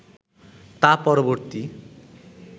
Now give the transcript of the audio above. তা পরবর্তী